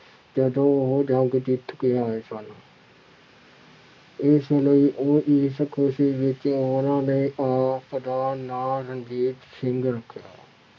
ਜਦੋਂ ਉਹ ਜੰਗ ਜਿੱਤ ਕੇ ਆਏ ਸਨ ਇਸ ਲਈ ਉਹਦੀ ਇਸ ਖ਼ੁਸ਼ੀ ਵਿੱਚ ਉਹਨਾਂ ਨੇ ਆਪ ਦਾ ਨਾਂ ਰਣਜੀਤ ਸਿੰਘ ਰੱਖਿਆ।